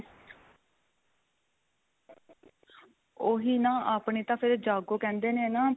ਉਹੀ ਨਾਂ ਆਪਣੇ ਤਾਂ ਫ਼ਿਰ ਜਾਗੋ ਕਹਿੰਦੇ ਨੇ ਨਾ